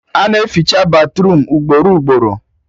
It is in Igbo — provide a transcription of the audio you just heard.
A na-eficha batruum ugboro ugboro